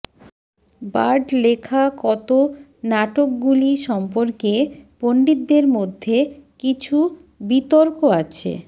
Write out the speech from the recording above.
bird লেখা কত নাটকগুলি সম্পর্কে পণ্ডিতদের মধ্যে কিছু বিতর্ক আছে